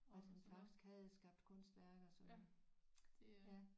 At han faktisk havde skabt kunstværker så ja